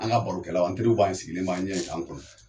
An ka barokɛlaw an teriw b'an sigilen b'an ɲɛ yen k'an kɔnɔ.